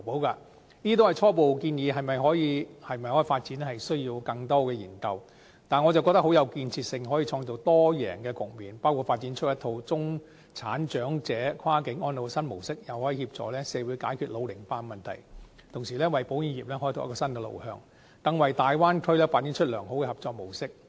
這些都是初步建議，可否發展需要更多研究，但我認為很有建設性，既可創造多贏的局面，包括發展出一套中產長者跨境安老新模式，又可協助社會解決老齡化的問題，同時為保險業開拓新路向，更為大灣區發展良好的合作模式。